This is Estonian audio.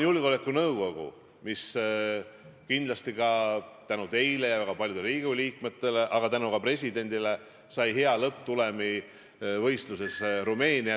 Julgeolekunõukogusse kandideerimisel saime kindlasti tänu teile ja ka paljudele Riigikogu liikmetele, aga ka tänu presidendile hea lõpptulemuse võistluses Rumeeniaga.